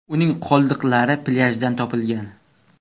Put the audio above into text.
Uning qoldiqlari plyajdan topilgan.